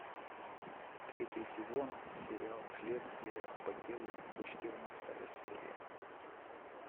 третий сезон сериал следствие по делу четырнадцатая серия